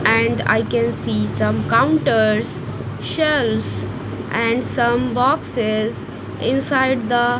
and i can see some counters shelfs and some boxes inside the.